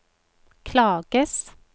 klages